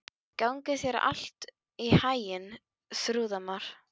Gangi þér allt í haginn, Þrúðmar.